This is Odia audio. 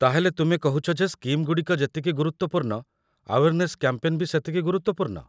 ତା'ହେଲେ ତୁମେ କହୁଛ ଯେ ସ୍କିମ୍‌ଗୁଡ଼ିକ ଯେତିକି ଗୁରୁତ୍ୱପୂର୍ଣ୍ଣ ଆୱେର୍ନେସ୍ କ‍୍ୟାମ୍ପେନ୍‌ ବି ସେତିକି ଗୁରୁତ୍ୱପୂର୍ଣ୍ଣ ।